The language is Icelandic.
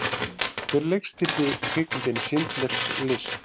Hver leikstýrði kvikmyndinni Schindlers List?